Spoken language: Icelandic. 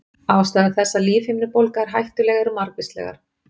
Ástæður þess að lífhimnubólga er hættuleg eru margvíslegar.